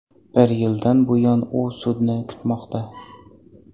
Bir yildan buyon u sudni kutmoqda.